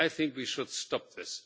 I think we should stop this.